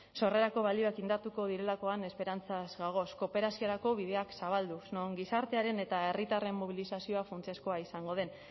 sorrerako balioak indartuko direlakoan esperantzaz gagoz kooperaziorako bideak zabalduz non gizartearen eta herritarren mobilizazioa funtsezkoa izango den